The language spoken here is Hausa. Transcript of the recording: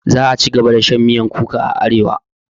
Za'a cigaba da shan miyar kuka a arewa.